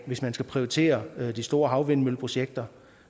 hvis man skal prioritere de store havvindmølleprojekter